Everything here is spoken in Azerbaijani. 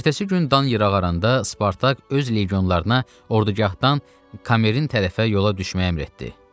Ertəsi gün Dan yırığarında Spartak öz legionlarına ordugahdan Kamerin tərəfə yola düşməyə əmr etdi.